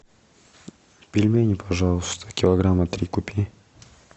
пельмени пожалуйста килограмма три купи